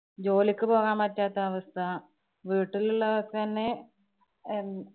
ജോലിക്ക് പോകാന്‍ പറ്റാത്ത അവസ്ഥ. വീട്ടിലുള്ളവര്‍ തന്നെ എന്‍~